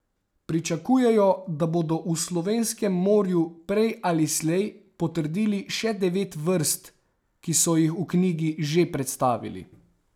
Pričakujejo, da bodo v slovenskem morju prej ali slej potrdili še devet vrst, ki so jih v knjigi že predstavili.